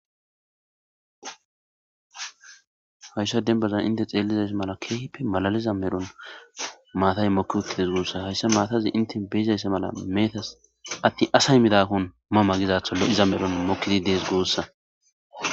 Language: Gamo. hayssa denbaza inte xeellizays mala keehippe malaliza medhon maatay mokki utti dees goossa hayssa maatazi inte beizayssa mala meetas atti asay midakkon ma magizatho lo7iza medhon mokkidi dees goossa